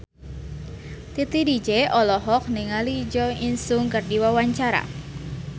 Titi DJ olohok ningali Jo In Sung keur diwawancara